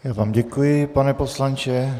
Já vám děkuji, pane poslanče.